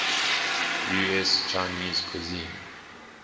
us chinese cuisine